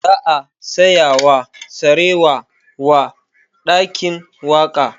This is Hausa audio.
Za a saya sarewa wa ɗakin waƙa